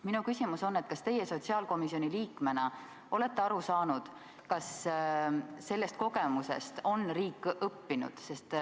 Minu küsimus on, kas teie sotsiaalkomisjoni liikmena olete aru saanud, kas sellest kogemusest on riik õppinud.